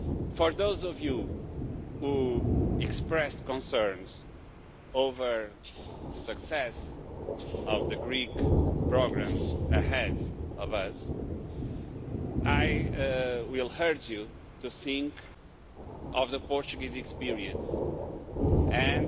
For those of you who expressed concerns over the success of the Greek programmes ahead of us, I would urge you to think of the Portuguese experience and